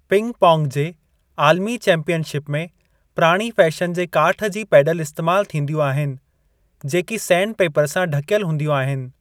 Ping pong जे आलमी championship में प्राणी फ़ैशन जे काठु जी पैडल इस्तेमाल थींदियूं आहिनि जेकी सैंड पेपर सां ढकेल हूंदियूं आहिनि।